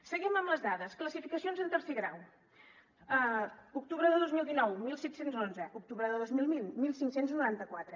seguim amb les dades classificacions en tercer grau octubre de dos mil dinou disset deu u octubre de dos mil vint quinze noranta quatre